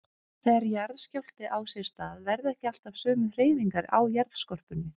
Þegar jarðskjálfti á sér stað verða ekki alltaf sömu hreyfingar á jarðskorpunni.